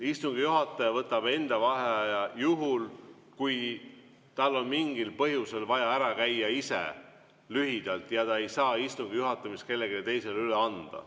Istungi juhataja võtab enda vaheaja juhul, kui tal on mingil põhjusel vaja ise lühidalt ära käia ja ta ei saa istungi juhatamist kellelegi teisele üle anda.